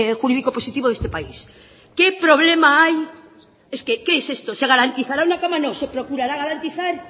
jurídico positivo de este país qué problema hay es que qué es esto se garantizará una cama no se procurará garantizar